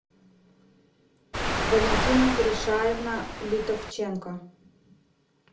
валентина гришаевна литовченко